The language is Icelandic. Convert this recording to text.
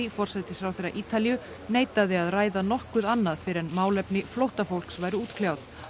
forsætisráðherra Ítalíu neitaði að ræða nokkuð annað fyrr en málefni flóttafólks væru útkljáð